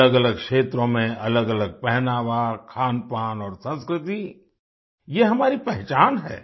अलगअलग क्षेत्रों में अलगअलग पहनावा खानपान और संस्कृति ये हमारी पहचान है